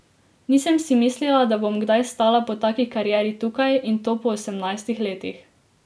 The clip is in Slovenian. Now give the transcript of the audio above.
Nisem si mislila, da bom kdaj stala po taki karieri tukaj, in to po osemnajstih letih.